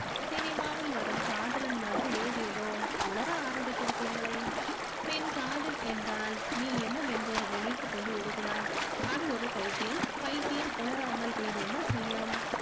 சினிமாவில் வரும் காதலன் மாதிரி ஏதேதோ உளற ஆரம்பித்து விட்டீர்களே பின் காதல் என்றால் நீ என்னவென்று நினைத்து கொண்டு இருக்கிறாய் அது ஒரு பைத்தியம் பைத்தியம் உணராமல் வேறு என்ன செய்யும்